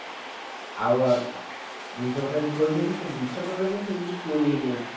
ଆଉ ଜିନିଷ ପତ୍ର ଯଦି ଥୋଇଛନ୍ତି ତ ଜିନିଷ ପତ୍ର ଯଦି ସେଉଠୁ କିଛି ଚୋରି ହେଇଯାଉଛି